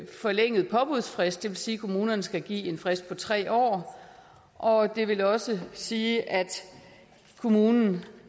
forlænget påbudsfrist det vil sige at kommunerne skal give en frist på tre år og det vil også sige at kommunen